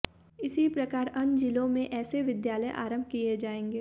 इसी प्रकार अन्य जिलों में ऐसे विद्यालय आरंभ किए जाएंगे